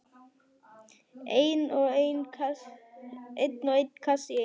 Einn og einn kassa í einu.